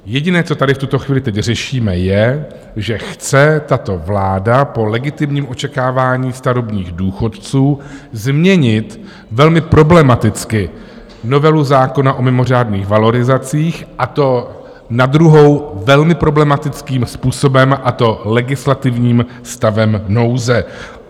Jediné, co tady v tuto chvíli teď řešíme, je, že chce tato vláda po legitimním očekávání starobních důchodců změnit velmi problematicky novelu zákona o mimořádných valorizacích, a to na druhou velmi problematickým způsobem, a to legislativním stavem nouze.